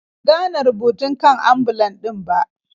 Ban gane rubutun kan ambulan din ba.